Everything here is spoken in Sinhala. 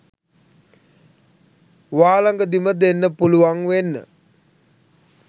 වාලඟදිම දෙන්න පුලුවන් වෙන්න